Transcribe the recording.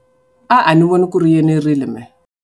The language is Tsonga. A ni voni ku ri yi enerile mehe.